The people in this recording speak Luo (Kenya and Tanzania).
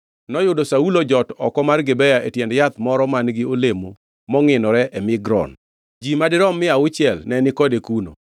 Noyudo Saulo ojot oko mar Gibea e tiend yadh moro man-gi olemo mongʼinore e Migron. Ji madirom mia auchiel ne ni kode kuno,